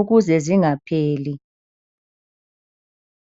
ukuze zingapheli.